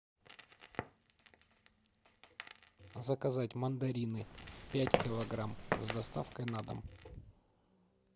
заказать мандарины пять килограмм с доставкой на дом